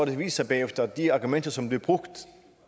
det vist sig bagefter at de argumenter som blev brugt